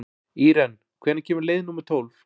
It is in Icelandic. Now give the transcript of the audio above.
Íren, hvenær kemur leið númer tólf?